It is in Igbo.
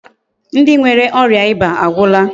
Ndi nwere oria iba agwula.